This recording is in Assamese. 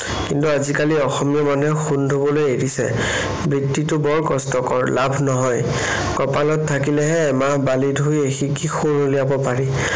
কিন্তু আজিকালি অসমীয়া মানুহে সোণ ধুবলৈ এৰিছে। বৃত্তিটো বৰ কষ্টকৰ, লাভ নহয়। কপালত থাকিলেহে এমাহ বালি ধুই এসিকি সোণ উলিয়াব পাৰি।